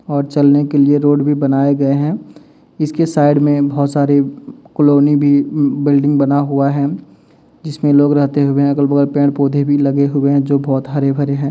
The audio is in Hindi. और चलने के लिए रोड भी बनाए गए हैं इसके साइड में बोहोत सारी कॉलोनी भी उम्म बिल्डिंग बना हुआ है जिसमें लोग रहते हुए अगल बगल पेड़ पौधे भी लगे हुए हैं जो बोहोत हरे भरे हैं।